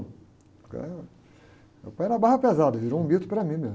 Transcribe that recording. Eh, meu pai era barra pesada, virou um mito para mim mesmo.